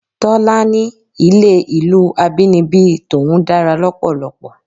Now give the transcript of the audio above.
Tọ́lá ní ilé ìlú abínibí tòun dára lọ́pọ̀lọpọ̀.